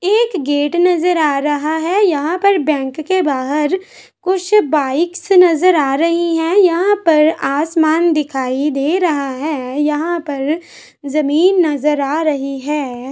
एक गेट नजर आ रहा है यहाँ पर बैंक के बाहर कुछ बाइक्स नजर आ रही है यहाँ पर आसमान दिखाई दे रहा है यहाँ पर जमीन नजर आ रही है।